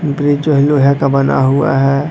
Bridge जो है लोहे का बना हुआ है।